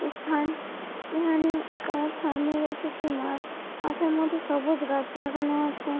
ই- স্থান মানে তার সামনে রয়েছে একটি মাঠ মাঠের মধ্যে সবুজ গাছ লাগানো আছে।